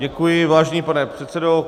Děkuji, vážený pane předsedo.